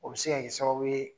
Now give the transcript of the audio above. O be se ka kɛ sababu ye